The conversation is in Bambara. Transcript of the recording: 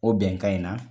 O bɛnkan in na